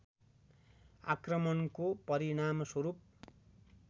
आक्रमणको परिणामस्वरूप